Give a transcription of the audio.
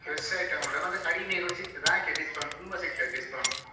Fresh item ಕೂಡ ಮತ್ತೆ ಕಡಿಮೆಗೆ ಕೂಡ ಸಿಗ್ತದೆ ಹಾಗೆ discount ತುಂಬಾ ಸಿಕ್ತದೆ discount .